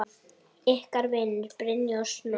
Ykkar vinir, Brynja og Snorri.